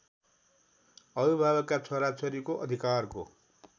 अभिभावकका छोराछोरीको अधिकारको